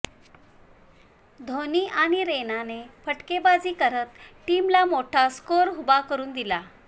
धोणी आणि रैनाने फटकेबाजी करत टीमला मोठा स्कोर उभा करुन दिला